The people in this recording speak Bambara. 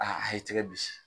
Aa a ye tɛgɛ bisi.